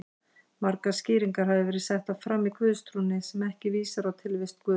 Margar skýringar hafa verið settar fram á guðstrúnni sem ekki vísa á tilvist Guðs.